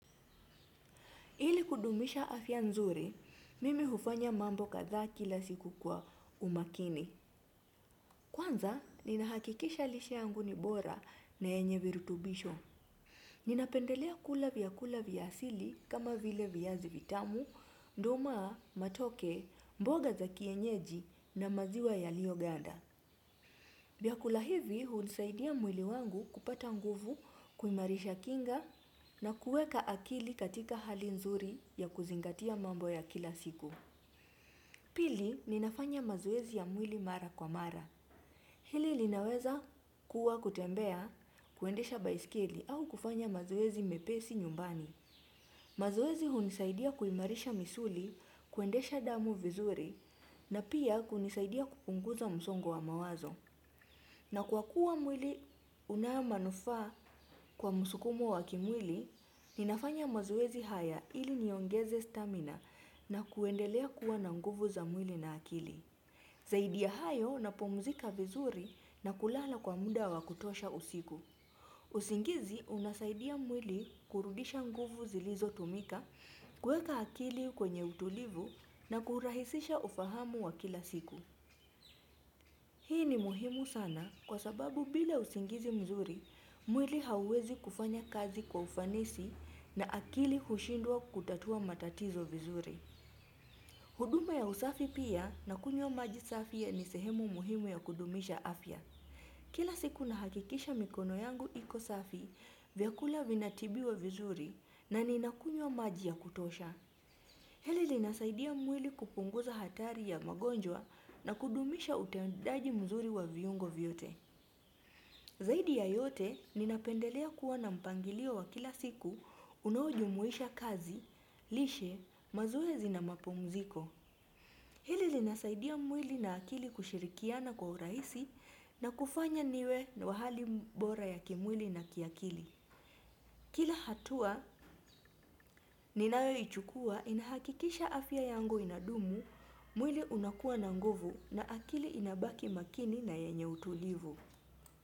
Ili kudumisha afia nzuri, mimi hufanya mambo kadha kila siku kwa umakini. Kwanza, ninahakikisha lishe yangu ni bora na yenye virutubisho. Ninapendelea kula vya kula vyasili kama vile vyazi vitamu, tamu, matoke, mboga za kienyeji na maziwa yalioganda. Viakula hivi, hunisaidia mwili wangu kupata nguvu kuimarisha kinga na kueka akili katika hali nzuri ya kuzingatia mambo ya kila siku. Pili, ninafanya mazoezi ya mwili mara kwa mara. Hili linaweza kuwa kutembea kuendesha baiskili au kufanya mazoezi mepesi nyumbani. Mazoezi hunisaidia kuimarisha misuli kuendesha damu vizuri na pia kunisaidia kupunguza msongo wa mawazo. Na kwa kuwa mwili unayo manufaa kwa musukumo wa kimwili, ninafanya mazowezi haya ili niongeze stamina na kuendelea kuwa na nguvu za mwili na akili. Zaidi ya hayo napumzika vizuri na kulala kwa muda wa kutosha usiku. Usingizi unasaidia mwili kurudisha nguvu zilizo tumika, kueka akili kwenye utulivu na kurahisisha ufahamu wa kila siku. Hii ni muhimu sana kwa sababu bila usingizi mzuri, mwili hawezi kufanya kazi kwa ufanisi na akili hushindua kutatua matatizo vizuri. Huduma ya usafi pia na kunyo maji safi ya nisehemu muhimu ya kudumisha afya. Kila siku na hakikisha mikono yangu iko safi vyakula vinatibiwa vizuri na ni nakunyo maji ya kutosha. Hili linasaidia mwili kupunguza hatari ya magonjwa na kudumisha utendaji mzuri wa viyungo vyote. Zaidi ya yote ninapendelea kuwa na mpangilio wa kila siku unaowajumuisha kazi, lishe, mazoezi na mapumuziko. Hili linasaidia mwili na akili kushirikiana kwa uraisi na kufanya niwe wahali bora ya kimwili na kiakili. Kila hatua ninayoichukua inahakikisha afya yangu inadumu mwili unakua na nguvu na akili inabaki makini na yenye utulivu.